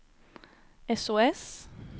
sos